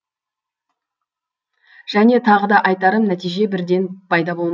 және тағы да айтарым нәтиже бірден пайда болмайды